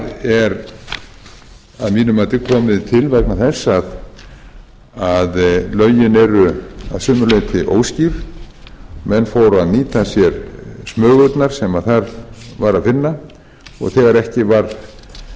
og það er að mínu mati komið til vegna þess að lögin eru að sumu leyti óskýr menn eru að nýta sér smugurnar sem þar er að finna